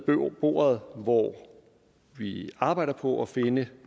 bordet hvor vi arbejder på at finde